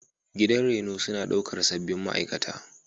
Gidan reno suna ɗaukar sabbin ma'aikata.